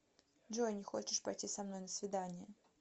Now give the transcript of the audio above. джой не хочешь пойти со мной на свидание